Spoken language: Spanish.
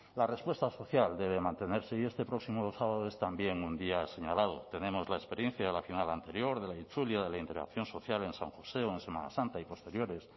la respuesta social debe mantenerse y este próximo sábado es también un día señalado tenemos la experiencia de la final anterior de la itzulia de la interacción social en san josé o en semana santa y posteriores